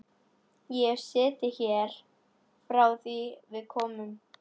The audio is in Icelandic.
Ég hef setið hér frá því að við komum.